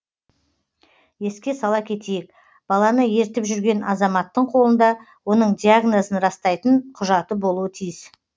еске сала кетейік баланы ертіп жүрген азаматтың қолында оның диагнозын растайтын құжаты болуы тиіс